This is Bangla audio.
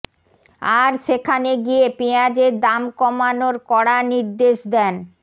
আর সেখানে গিয়ে পেঁয়াজের দাম কমানোর কড়া নির্দেশ দেন